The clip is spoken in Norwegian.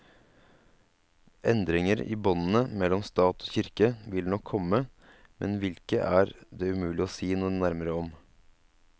Endringer i båndene mellom stat og kirke vil nok komme, men hvilke er det umulig å si noe nærmere om.